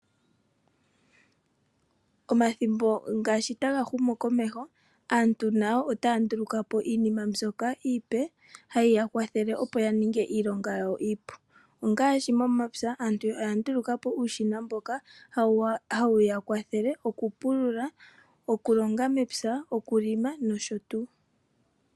Omathimbo ngashi taga humu komesho ,aantu nayo ota ndulukapo iinima mbyoka iipe hayi ya kwathele yaninge iilonga yawo iipu ongashi momapya aantu oya ndulukapo uushina mboka hawu ya kwathele oku pulula ,okulonga mepya ,okulima nosho tu.